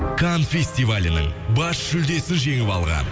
кан фестивалінің бас жүлдесін жеңіп алған